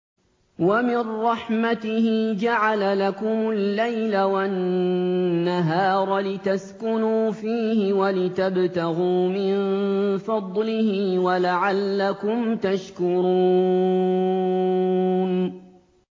وَمِن رَّحْمَتِهِ جَعَلَ لَكُمُ اللَّيْلَ وَالنَّهَارَ لِتَسْكُنُوا فِيهِ وَلِتَبْتَغُوا مِن فَضْلِهِ وَلَعَلَّكُمْ تَشْكُرُونَ